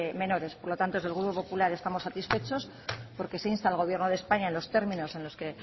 menores por lo tanto desde el grupo popular estamos satisfechos porque se insta al gobierno de españa en los términos en los que